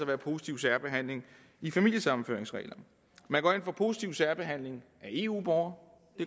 være positiv særbehandling i familiesammenføringsreglerne man går ind for positiv særbehandling af eu borgere